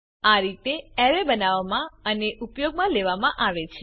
આ રીતે અરે બનાવવામાં અને ઉપયોગમાં લેવામાં આવે છે